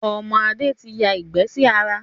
Ọmọ Adé tí ya ìgbẹ́ sí ara